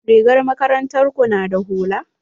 Rigar makarantar ku na da hula?